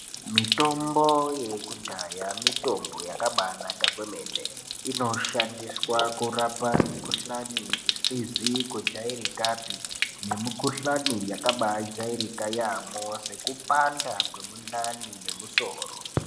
Mitombo yekudhaya mitombo yakabanaka kwemene, inoshandiswa kurapa mikhuhlani isizi kujairikapi nemikhuhlani yakabajairika yambo sekupanda kwemundani nemusoro.